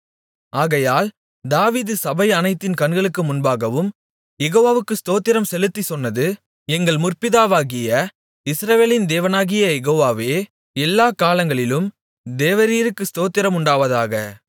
ஆகையால் தாவீது சபை அனைத்தின் கண்களுக்கு முன்பாகவும் யெகோவாவுக்கு ஸ்தோத்திரம் செலுத்திச் சொன்னது எங்கள் முற்பிதாவாகிய இஸ்ரவேலின் தேவனாகிய யெகோவாவே எல்லாக் காலங்களிலும் தேவரீருக்கு ஸ்தோத்திரம் உண்டாவதாக